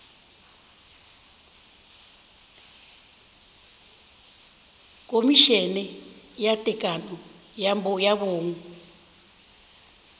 khomišene ya tekano ya bong